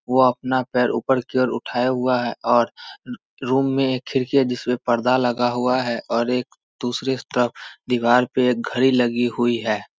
ओ अपना पैर ऊपर की और उठाये हुआ है और रूम मे एक खिड़की है जिसमे एक पर्दा लगा हुआ है और एक दुसरे तरफ दीवाल पे एक घड़ी लगी हुई है।